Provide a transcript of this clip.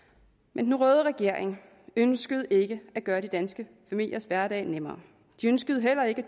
men den røde regering ønskede ikke at gøre de danske familiers hverdag nemmere de ønskede heller ikke